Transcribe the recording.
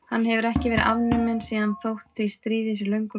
Hann hefur ekki verið afnuminn síðan þótt því stríði sé löngu lokið.